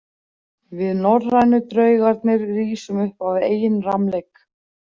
Við norrænu draugarnir rísum upp af eigin rammleik.